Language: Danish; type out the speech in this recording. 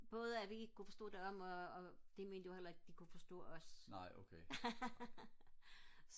både at vi ikke kunne forstå dem og de mente jo heller ikke de kunne forstå os